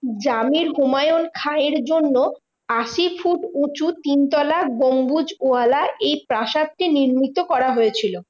জমির হুমায়ুন খাঁয়ের জন্য আশি ফুট উঁচু তিনতলা গম্বুজ ওয়ালা এই প্রাসাদটি নির্মিত করা হয়েছিল।